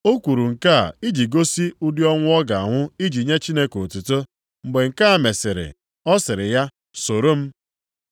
O kwuru nke a iji gosi ụdị ọnwụ ọ ga-anwụ iji nye Chineke otuto. Mgbe nke a mesịrị, ọ sịrị ya, “Soro m.”